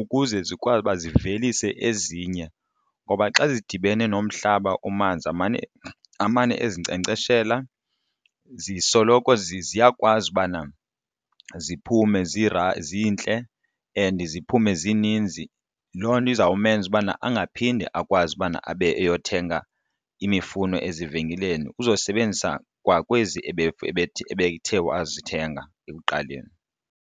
ukuze zikwazi uba zivelise ezinye. Ngoba xa zidibene nomhlaba omanzi amane amane ezinkcenkceshela zisoloko ziyakwazi ubana ziphume ezintle and ziphume zininzi. Loo nto izawumenza ukubana angaphinde akwazi ubana abe eyothenga imifuno ezivenkileni, uzosebenzisa kwakwezi ebethe wayezithenga ekuqaleni.